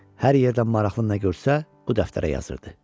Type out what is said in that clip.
Hər yerdə maraqlı nə görsə, bu dəftərə yazırdı.